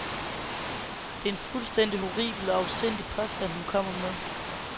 Det er en fuldstændig horribel og afsindig påstand, hun kommer med.